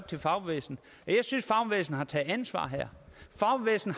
til fagbevægelsen jeg synes at har taget ansvar fagbevægelsen